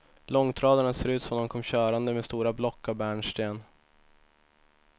Långtradarna ser ut som om de kom körande med stora block av bärnsten.